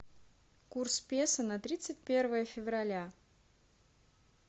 курс песо на тридцать первое февраля